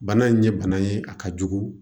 Bana in ye bana ye a ka jugu